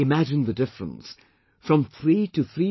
Imagine the difference from 3 to 3